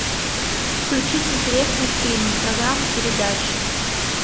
включить интересный фильм программа передач